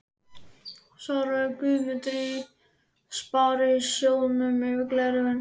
svaraði Guðmundur í Sparisjóðnum yfir gleraugun.